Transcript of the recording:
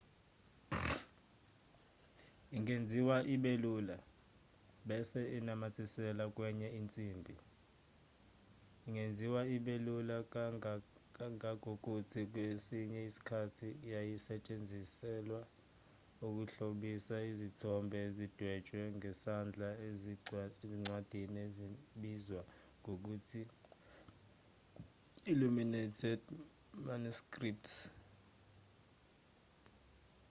ingenziwa ibe lula bese inamathiselwa kwenye insimbi ingenziwa ibe lula kangangokuthi kwesinye isikhathi yayisetshenziselwa ukuhlobisa izithombe ezidwetshwe ngesandla ezincwadini ezibizwa ngokuthi illuminated manuscripts